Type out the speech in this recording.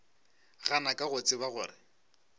gana ka go tseba gore